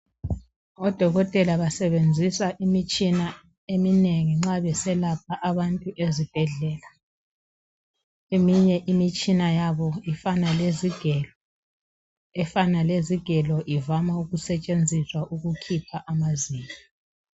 Odokotela basebenzisa imitshina eminengi nxa beselapha abantu ezibhedlela. Eminye imitshina yabo ifana lezigelo ,efana lezigelo ivama ukusetshenziswa ukukhipha amazinyo.